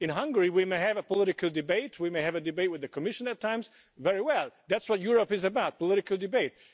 In Hungary, we may have a political debate, we may have a debate with the Commission at times very well, that's what Europe is about, political debate.